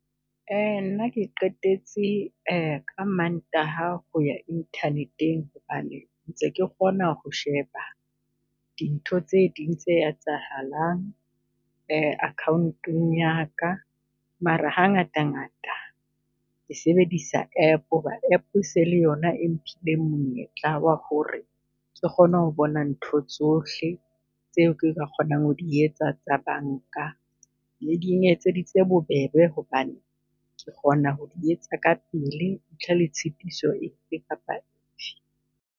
Nna ke qetetse ka Mantaha ho ya Internet-eng hobane ntse ke kgona ho sheba dintho tse ding tse etsahalang akhaonteng ya ka? Mara hangata ngata ke sebedisa app, ho ba app e se e le yona e mphileng monyetla wa ho re ke kgone ho bona ntho tsohle tseo ka kgonang ho di etsa tsa banka. Ne di etseditse bobebe hobane ke kgona ho di etsa kapele ntle le tshitiso efe kapa efe.